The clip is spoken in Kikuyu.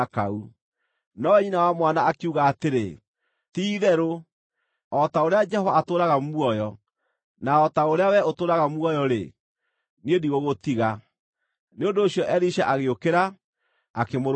Nowe nyina wa mwana akiuga atĩrĩ, “Ti-itherũ o ta ũrĩa Jehova atũũraga muoyo, na o ta ũrĩa wee ũtũũraga muoyo-rĩ, niĩ ndigũgũtiga.” Nĩ ũndũ ũcio Elisha agĩũkĩra, akĩmũrũmĩrĩra.